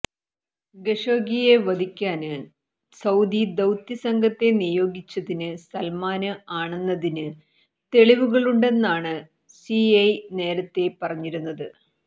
ഖഷോഗിയെ വധിക്കാന് സൌദി ദൌത്യസംഘത്തെ നിയോഗിച്ചത് സല്മാന് ആണെന്നതിന് തെളിവുകളുണ്ടെന്നാണ് സിഐഎ നേരത്തെ പറഞ്ഞിരുന്നത്